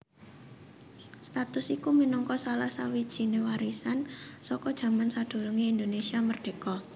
Status iku minangka salah sawijininéwarisan saka jaman sadurungé Indonesia merdéka